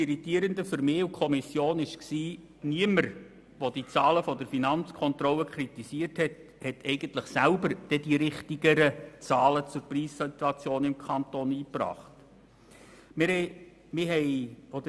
Die Kommission war irritiert, weil niemand, der die Zahlen der Finanzkontrolle kritisierte, selber richtigere Zahlen zur Preissituation im Kanton Bern einbringen konnte.